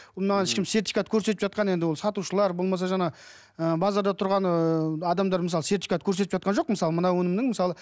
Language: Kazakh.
ол маған ешкім сертификат көрсетіп жатқан енді ол сатушылар болмаса жаңағы ы базарда тұрған ыыы адамдар мысалы сертификат көрсетіп жатқан жоқ мысалы мына өнімнің мысалы